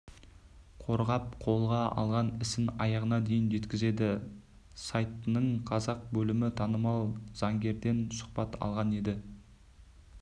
қорғап қолға алған ісін аяғына дейін жеткізеді сайтының қазақ бөлімі танымал заңгерден сұхбат алған еді